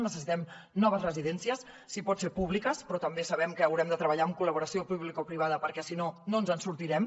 necessitem noves residències si pot ser públiques però també sabem que haurem de treballar amb col·laboració publicoprivada perquè si no no ens en sortirem